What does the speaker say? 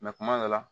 kuma dɔ la